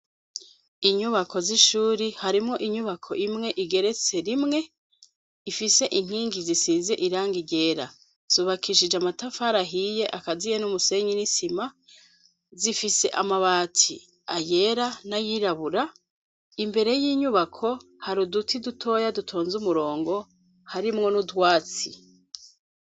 Inyubako z'ishuri harimwo inyubako imwe igeretse rimwe ifise inkingi zisize irangi ryera zubakishije amatafari ahiye akaziye n'umusenyi n'isima zifise amabati yera n'ayirabura imbere y'inyubako hari uduti dutoya dutonze umurongo harimwo n'utwatsi.